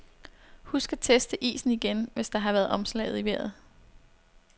Husk at teste isen igen, hvis der har været omslag i vejret.